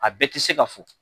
A bɛɛ ti se ka fɔ